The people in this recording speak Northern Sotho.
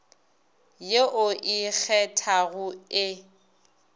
ye o e kgethago e